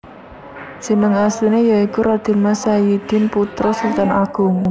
Jeneng asliné ya iku Raden Mas Sayidin putra Sultan Agung